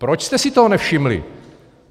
Proč jste si toho nevšimli?